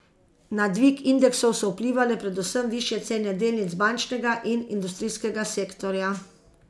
Na dvig indeksov so vplivale predvsem višje cene delnic bančnega in industrijskega sektorja.